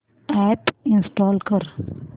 app install कर